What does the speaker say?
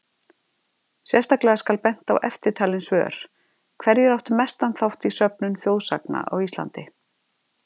Sérstaklega skal bent á eftirtalin svör: Hverjir áttu mestan þátt í söfnun þjóðsagna á Íslandi?